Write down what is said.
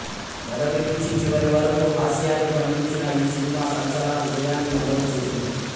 మొదటి నుంచి చివరి వరకూ హాస్యాన్ని పండించిన ఈ సినిమా సంచలన విజయాన్ని నమోదుచేసింది